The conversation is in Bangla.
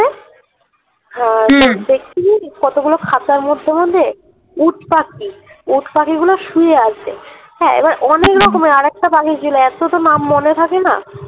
হা কতগুলো খাচার মধ্যে মধ্যে উটপাখি উটপাখি গুলে শুয়ে আছে হ্যা এবার অনেক রকমের আরেক টা পাখি ছিল এত তো নাম মনে থাকে না